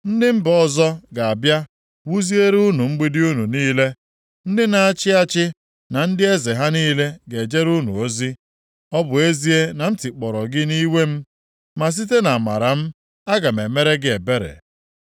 “Ndị mba ọzọ ga-abịa wuziere unu mgbidi unu niile. Ndị na-achị achị na ndị eze ha niile ga-ejere unu ozi. Ọ bụ ezie na m tikpọrọ gị nʼiwe m, ma site nʼamara m, aga m emere gị ebere.